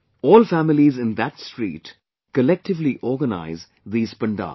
All families in that street collectively organize these pandals